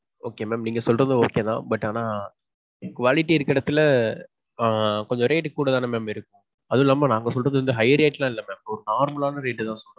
okay mam. நீங்க சொல்றதும் okay தான். But ஆனா quality இருக்குற எடத்துல ஆ கொஞ்ச rate கூட தானே mam இருக்கும். அதுவும் இல்லாம நாங்க சொல்றது வந்து high rate எல்லாம் இல்ல mam. ஒரு normal ஆன rate தான் சொல்றோம்.